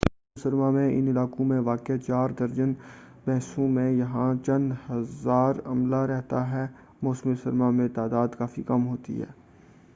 موسم گرما میں ان علاقوں میں واقع چار درجن بیسوں میں یہاں چند ہزار عملہ رہتا ہے موسم سرما میں یہ تعداد کافی کم ہوتی ہے